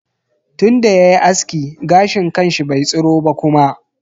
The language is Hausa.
Tunda yayi aski, gashin kanshi bai tsiro ba kuma.